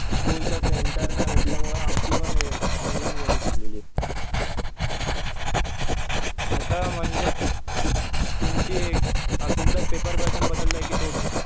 स्कुलचं centre नाही भेटल्यामुळं आमची पण ऑनलाईन घेऊन टाकलेली. आता म्हणजे तुमची तुमचा पेपर पॅटर्न बदललाय कि तोच आहे?